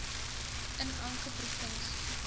in elke provinsie